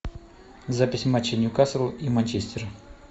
запись матча ньюкасл и манчестер